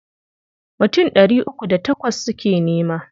Mutum ɗari uku da takwas suke nema.